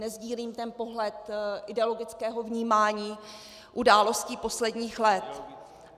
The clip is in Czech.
Nesdílím ten pohled ideologického vnímání událostí posledních let.